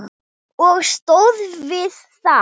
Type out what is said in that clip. Og stóð við það.